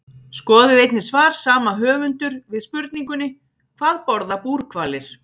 Skoðið einnig svar sama höfundur við spurningunni Hvað borða búrhvalir?